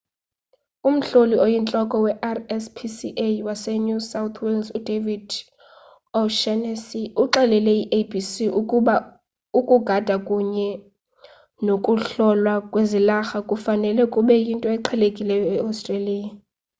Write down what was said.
umhloli oyintloko we-rspca wase new south wales udavid o'shannessy uxelele i-abc ukuba ukugada kunye nokuhlolwa kwezilarha kufanele kube yinto eqhelekileyo e-australia